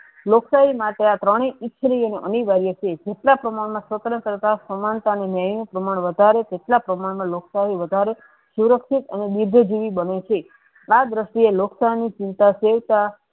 લોકશાહી માટે આ ત્રણે સ્થિર અનિવાર્ય છે જેટલા સમય મા સ્વંત્રતા સરકાર સમાનતા નું નીય પ્રમાણ વધારે કેટલા સમય મા લોકશાહી વધારે સુરક્ષિત અને બુદ્ધિજીવી બને છે આ દ્રીસ્તીયે લોકશાહ ની ચિંતા છેટા